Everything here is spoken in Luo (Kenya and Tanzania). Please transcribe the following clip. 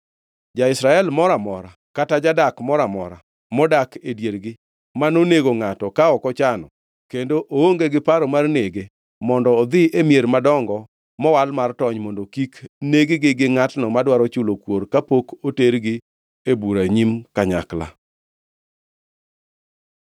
Ja-Israel moro amora kata jadak mora amora modak e diergi ma nonego ngʼato ka ok ochano kendo ka oonge gi paro mar nege mondo odhi e mier madongo mowal mar tony mondo kik neg-gi gi ngʼatno madwaro chulo kuor kapok otergi e bura e nyim kanyakla.